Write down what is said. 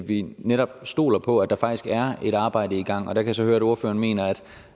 vi netop stoler på at der faktisk er et arbejde i gang der kan jeg så høre at ordføreren mener